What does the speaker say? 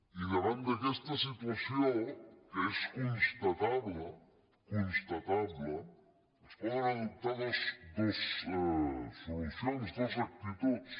i davant d’aquesta situació que és constatable constatable es poden adoptar dues solucions dues actituds